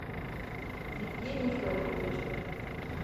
евгений федорович